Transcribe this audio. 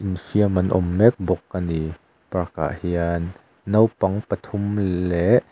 infiam an awm mek bawk a ni park ah hian naupang pathum leh --